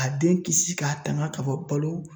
A den kisi ka tanga ka bɔ balo